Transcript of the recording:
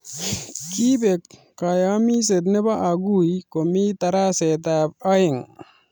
Kiipek kaayamiset ne bo aguii komii daraset ab aeeng